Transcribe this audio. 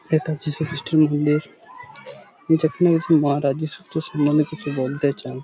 এটা যীশু খ্রিস্টের মন্দির যেখানে কিছু মহারাজের সুত্র সমন্ধে কিছু বলতে চান ।